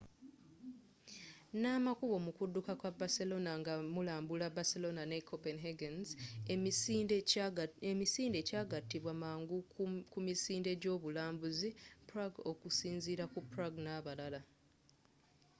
na makubo mukudduka kwa barcelona nga mulambula barcelona ne copenhagen's emisinde kyagatibwa mangu ku misinde egy'obulambuzi prague okusinziira ku prague n'abalala